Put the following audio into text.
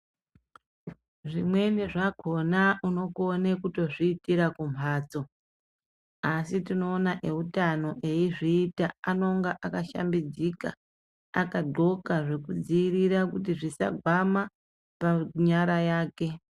Zvimweni zvakona unokone kutozviitira kumhatso, asi tinoona eutano eizviita anonga akashambidzika, akadhxoka zvekudzivirira kuti zvisagwama panyara yake.